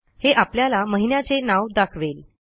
हे आपल्याला महिन्याचे नाव दाखवेल